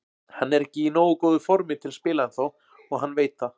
Hann er ekki í nógu góðu formi til að spila ennþá og hann veit það.